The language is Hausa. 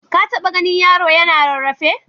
Ka taɓa ganin yaro yana rarrafe?